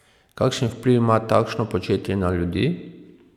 Kakšen vpliv ima takšno početje na ljudi?